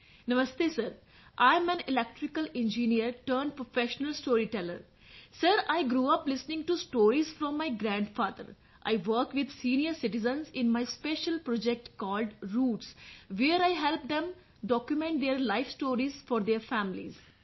namaste sir I am an electrical engineer turned professional storyteller sir I grew up listening to stories from my grandfather I work with senior citizens in my special project called Roots where I help them document their life stories for their families